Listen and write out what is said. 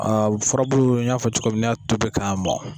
A furabulu n'i tobi k'a mɔ.